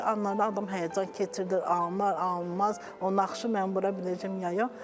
İlk anlarında adam həyəcan keçirdir, alınar, alınmaz, o naxışı mən vura biləcəm ya yox.